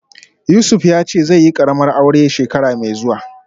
Yusuf yace zaiyi karamar aure shekara mai zuwa